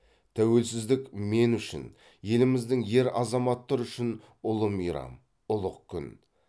тәуелсіздік мен үшін еліміздің ер азаматтары үшін ұлы мейрам ұлық күн